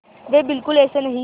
वे बिल्कुल ऐसे नहीं हैं